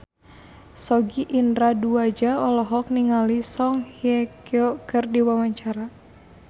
Sogi Indra Duaja olohok ningali Song Hye Kyo keur diwawancara